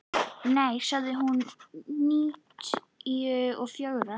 Nei, hún sagði níutíu og fjögra.